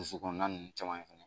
Dusu kɔnɔna ninnu caman ye